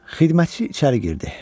Xidmətçi içəri girdi.